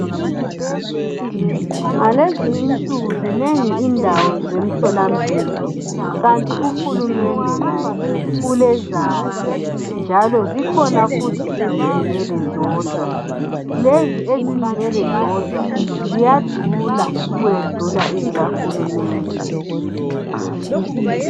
Ngalezi insuku zinengi indawo zemtholampilo kanti uhulumende laye ulezakhe, njalo zikhona futhi ezizimele zodwa lezi ezizimele zodwa ziyadula ukwedlula ezika hulumende.